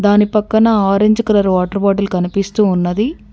దాని పక్కన orange colour water bottle కనిపిస్తూ ఉన్నది.